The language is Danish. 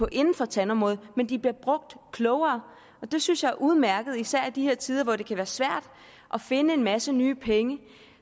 inden for tandområdet men de bliver brugt klogere og det synes jeg er udmærket især i de her tider hvor det kan være svært at finde en masse nye penge